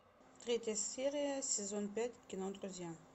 третья серия сезон пять кино друзья